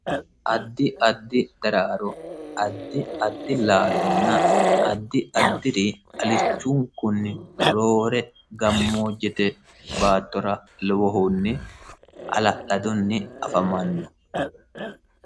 addi addi daraaro addi addi laalunna addi addiri alichunkunni roore gammoo jete baattora liwohunni ala'ladunni afamanno